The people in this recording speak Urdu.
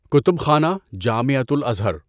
کتب خانه، جامعۃُ الازہر